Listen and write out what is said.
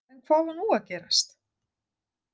En hvað var nú að gerast!